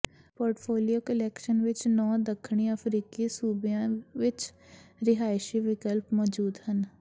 portfolio calculation ਵਿੱਚ ਨੌਂ ਦੱਖਣੀ ਅਫ਼ਰੀਕੀ ਸੂਬਿਆਂ ਵਿੱਚ ਰਿਹਾਇਸ਼ੀ ਵਿਕਲਪ ਮੌਜੂਦ ਹਨ